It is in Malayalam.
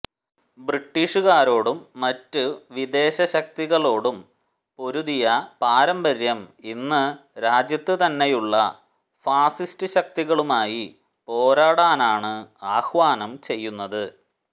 ബ്രിട്ടീഷുകാരോടും മറ്റ് വിദേശശക്തികളോടും പൊരുതിയ പാരമ്പര്യം ഇന്ന് രാജ്യത്ത് തന്നെയുള്ള ഫാസിസ്റ്റ് ശക്തികളുമായി പോരാടാനാണ് ആഹ്വാനം ചെയ്യുന്നത്